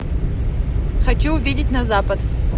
хочу увидеть на запад